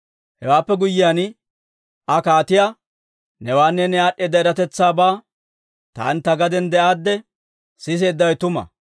Hewaappe guyyiyaan, Aa kaatiyaa, «Newaanne ne aad'd'eeda eratetsaabaa taani ta gaden de'aadde siseeddawe tuma.